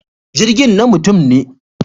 Jirgin na mutum ne.